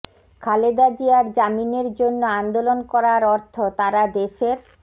খালেদা জিয়ার জামিনের জন্য আন্দোলন করার অর্থ তারা দেশের